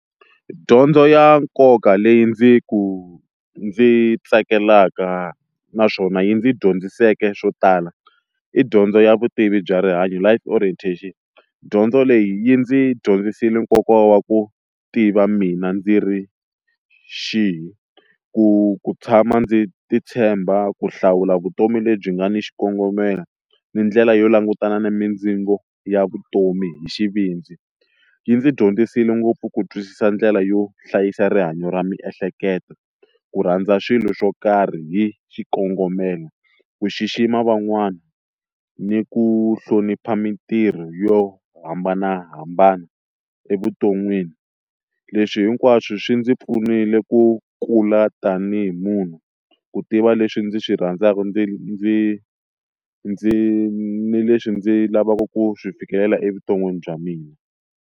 Dyondzo ya nkoka leyi ndzi ku ndzi yi tsakelaka naswona yi ndzi dyondziseke swo tala i dyondzo ya vutivi bya rihanyo Life orientation, dyondzo leyi yi ndzi dyondzisile nkoka wa ku tiva mina ndzi ri xihi ku ku tshama ndzi ti tshemba ku hlawula vutomi lebyi nga ni xikongomelo ni ndlela yo langutana na mindzingo ya vutomi hi xivindzi, yi ndzi dyondzisile ngopfu ku twisisa ndlela yo hlayisa rihanyo ra miehleketo ku rhandza swilo swo karhi hi xikongomelo, ku xixima van'wana, ni ku hlonipha mitirho yo hambanahambana evuton'wini leswi hinkwaswo swi ndzi pfunile ku kula tanihi munhu ku tiva leswi ndzi swi rhandzaka ndzi ndzi ndzi ni leswi ndzi lavaka ku swi fikelela evuton'wini bya mina.